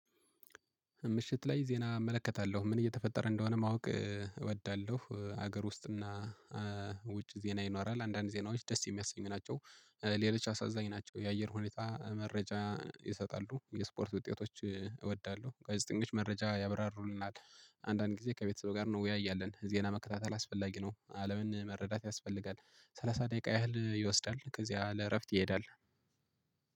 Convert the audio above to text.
ምሽት ላይ ዜና እመለከታለሁ ምን እየተፈጠረ እንደሆነ ማወቅ እወዳለሁ። ሀገር ውስጥና ውጭ ዜና ይኖራል አንዳንድ ዜናዎች ደስ የሚያሰኙ ናቸው። ሌሎች አሳዛኝ ናቸው። የአየር ሁኔታ መረጃ ይሰጣሉ የስፖርት ውጤቶች እወዳለሁ። ጋዜጠኞች መረጃ ያብራሩልናል አንዳንድ ጊዜ ከቤተሰብ ጋር ነው እንወያያለን። ዜና መከታተል አስፈላጊ ነው። አለምን መረዳት ያስፈልጋል። ሰላሳ ደቂቃ ያህል ይወስዳል። ከዚያ ለእረፍት ይሄዳል።